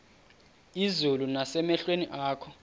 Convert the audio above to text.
izulu nasemehlweni akho